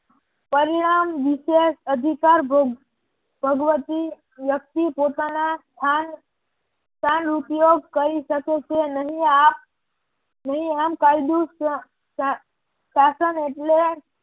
પરિણામ વિશેષ અધિકાર ભગવતી વ્યક્તિ પોતાના સ્થાન ઉપયોગ કરી શકે છે નહિ આ શાસન એટલે